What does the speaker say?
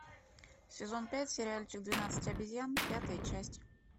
сезон пять сериальчик двенадцать обезьян пятая часть